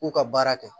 K'u ka baara kɛ